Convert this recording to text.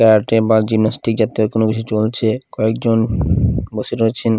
এবার জাতীয় কোনো কিছু জ্বলছে কয়েকজন বসে রয়েছেন ।